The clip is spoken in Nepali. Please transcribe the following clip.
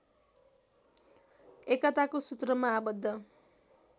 एकताको सुत्रमा आबद्ध